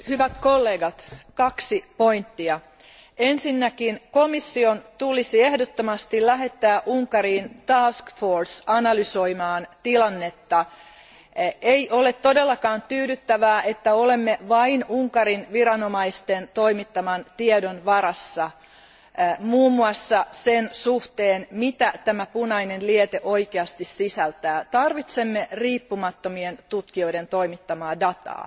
Arvoisa puhemies, hyvät kollegat, esitän kaksi asiaa. Ensinnäkin komission tulisi ehdottomasti lähettää Unkariin analysoimaan tilannetta. Ei ole todellakaan tyydyttävää, että olemme vain Unkarin viranomaisten toimittaman tiedon varassa muun muassa sen suhteen, mitä tämä punainen liete oikeasti sisältää. Tarvitsemme riippumattomien tutkijoiden toimittamaa tietoa.